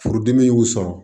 Furudimi y'u sɔrɔ